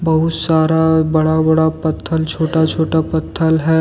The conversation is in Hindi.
बहुत सारा बड़ा बड़ा पत्थल छोटा छोटा पत्थल है।